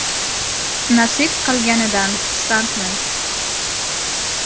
Nasib qilganidan xursandmiz.